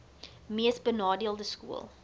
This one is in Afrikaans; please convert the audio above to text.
mees benadeelde skole